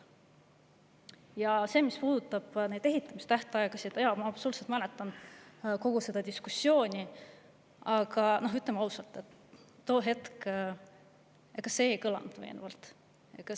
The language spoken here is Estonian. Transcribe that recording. Ja mis puudutab ehitamise tähtaegu, siis jaa, ma absoluutselt mäletan kogu seda diskussiooni, aga ütlen ausalt, et tol hetkel see ei kõlanud veenvalt.